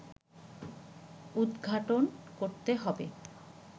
উদঘাটন করতে হবে